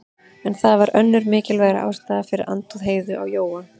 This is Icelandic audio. En það var önnur og mikilvægari ástæða fyrir andúð Heiðu á Jóa.